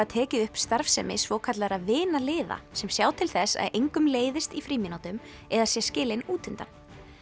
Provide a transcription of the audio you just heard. tekið upp starfsemi svokallaðra sem sjá til þess að engum leiðist í frímínútum eða sé skilinn út undan